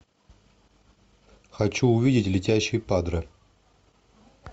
хочу увидеть летящий падре